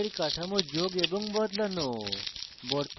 যৌগের কাঠামো যোগ এবং বদলানো